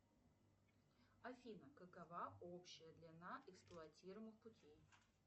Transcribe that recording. афина какова общая длина эксплуатируемых путей